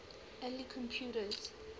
early computers